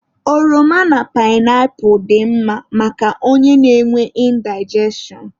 Oroma na painapu dị mma maka onye na-enwe indigestion.